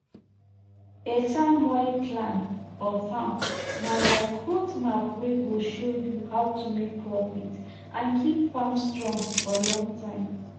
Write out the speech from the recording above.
beta moi plan for farm na like road map wey go show you how to make profit and keep farm strong for long time